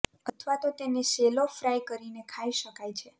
અથવા તો તેને શેલો ફ્રાય કરીને ખાઇ શકાય છે